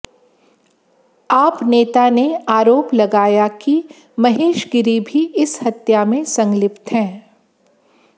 आप नेता ने आरोप लगाया कि महेश गिरी भी इस हत्या में संलिप्त हैं